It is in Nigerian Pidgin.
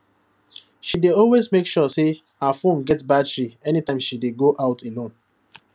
she dey make sure say her phone get battery anytime she dey go out alone